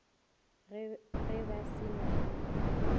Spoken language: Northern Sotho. ge ba se na le